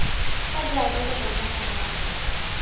fa jaaka lo bona morwarre